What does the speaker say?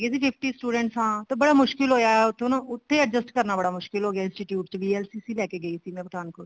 fifty students ਨਾਲ ਤੇ ਬੜਾ ਮੁਸ਼ਕਿਲ ਹੋਇਆ ਉੱਥੇ adjust ਕਰਨਾ ਬੜਾ ਮੁਸ਼ਕਿਲ ਹੋਗਿਆ institute ਚ VLCC ਲੇਕੇ ਗਈ ਸੀ ਪਠਾਨ ਕੋਟ